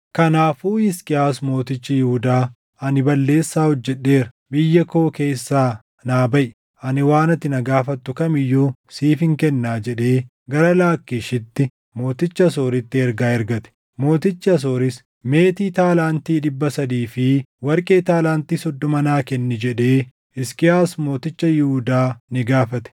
Kanaafuu Hisqiyaas mootichi Yihuudaa, “Ani balleessaa hojjedheera. Biyya koo keessaa naa baʼi; ani waan ati na gaafattu kam iyyuu siifin kennaa” jedhee gara Laakkiishitti mooticha Asooritti ergaa ergate. Mootichi Asooris, “Meetii taalaantii dhibba sadii fi warqee taalaantii soddoma naa kenni” jedhee Hisqiyaas mooticha Yihuudaa ni gaafate.